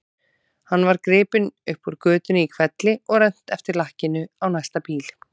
Hann var gripinn upp úr götunni í hvelli og rennt eftir lakkinu á næsta bíl.